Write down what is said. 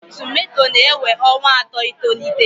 Tomato na-ewe ọnwa atọ itolite.